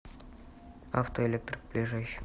автоэлектрик ближайший